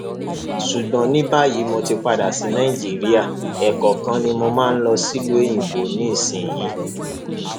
ṣùgbọn ní báyìí mo ti padà sí nàìjíríà ẹẹkọọkan ni mo máa ń lọ sílùú òyìnbó nísìnyìí